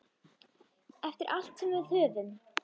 Eftir allt sem við höfum.